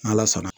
N'ala sɔnna